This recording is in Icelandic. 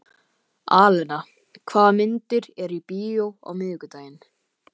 Alena, hvaða myndir eru í bíó á miðvikudaginn?